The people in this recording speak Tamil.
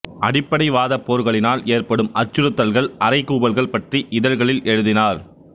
அடிப்படைவாதப் போர்களினால் ஏற்படும் அச்சுறுத்தல்கள் அறைகூவல்கள் பற்றி இதழ்களில் எழுதினார்